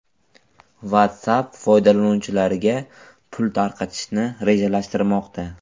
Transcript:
WhatsApp foydalanuvchilariga pul tarqatishni rejalashtirmoqda.